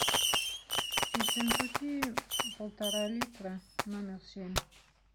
ессентуки полтора литра номер семь